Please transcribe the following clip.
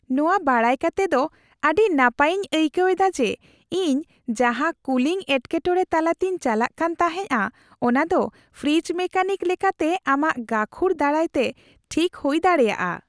ᱱᱚᱣᱟ ᱵᱟᱰᱟᱭ ᱠᱟᱛᱮ ᱫᱚ ᱟᱹᱰᱤ ᱱᱟᱯᱟᱭᱤᱧ ᱟᱹᱭᱠᱟᱹᱣ ᱮᱫᱟ ᱡᱮ , ᱤᱧ ᱡᱟᱦᱟᱸ ᱠᱩᱞᱤᱝ ᱮᱴᱠᱮᱴᱚᱲᱮ ᱛᱟᱞᱟᱛᱮᱧ ᱪᱟᱞᱟᱜ ᱠᱟᱱ ᱛᱟᱦᱮᱸᱜᱼᱟ ᱚᱱᱟ ᱫᱚ ᱯᱷᱨᱤᱡᱽ ᱢᱮᱠᱟᱱᱤᱠ ᱞᱮᱠᱟᱛᱮ ᱟᱢᱟᱜ ᱜᱟᱹᱠᱷᱩᱲ ᱫᱟᱨᱟᱭᱛᱮ ᱴᱷᱤᱠ ᱦᱩᱭ ᱫᱲᱟᱮᱭᱟᱜᱼᱟ ᱾